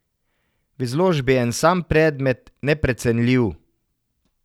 V izložbi je en sam predmet, neprecenljiv.